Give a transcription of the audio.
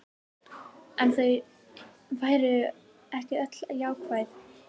En þau væru ekki öll jákvæð